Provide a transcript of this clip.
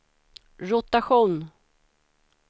rotation